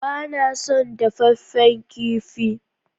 Ba na son dafaffen kifi